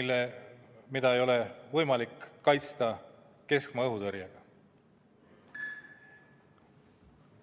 aga seda ei ole võimalik kaitsta keskmaa õhutõrjega.